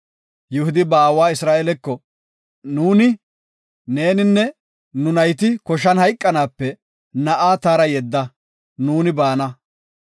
Yihudi ba aawa Isra7eeleko, “Nuuni, neeninne nu nayti koshan hayqanaape na7aa taara yedda, nuuni baana.